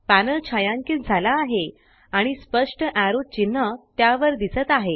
panel छायांकित झाला आहे आणि स्पष्ट एरो चिन्ह त्यावर दिसत आहे